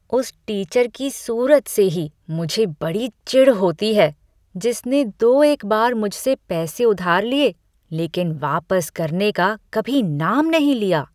उस टीचर की सूरत से ही मुझे बड़ी चिढ़ होती है, जिसने दो एक बार मुझसे पैसे उधार लिए, लेकिन वापस करने का कभी नाम नहीं लिया।